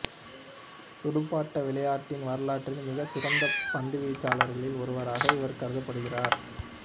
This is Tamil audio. துடுப்பாட்ட விளையாட்டின் வரலாற்றில் மிகச் சிறந்த பந்து வீச்சாளர்களில் ஒருவராக இவர் கருதப்படுகிறார்